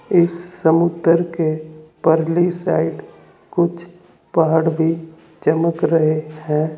इस समुद्र के ऊपरली साइड कुछ पहाड़ भी चमक रहे हैं।